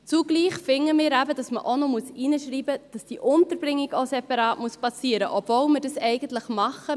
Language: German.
Zugleich finden wir, dass hineingeschrieben werden muss, dass auch die Unterbringung separat zu erfolgen hat, obwohl wir es eigentlich tun: